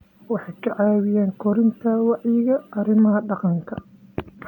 Waxay ka caawiyaan kordhinta wacyiga arrimaha deegaanka.